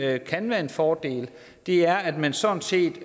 jo kan være en fordel er at man sådan set